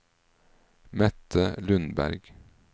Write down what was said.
Mette Lundberg